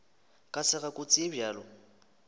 ka sega kotsi ye bjalo